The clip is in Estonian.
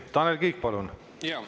Tanel Kiik, palun!